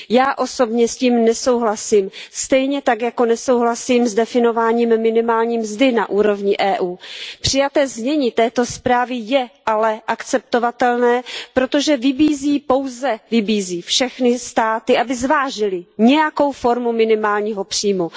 Já osobně s tím nesouhlasím, stejně tak jako nesouhlasím s definováním minimální mzdy na úrovni Evropské unie. Přijaté znění této zprávy je ale akceptovatelné, protože pouze vybízí všechny státy, aby zvážily nějakou formu minimálního příjmu.